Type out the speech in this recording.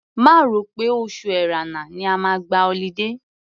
Má rò pé oṣù Ẹ̀rẹnà ni ẹ máa gba ọlidé.